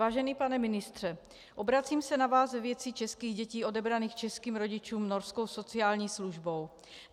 Vážený pane ministře, obracím se na vás ve věci českých dětí odebraných českým rodičům norskou sociální službou.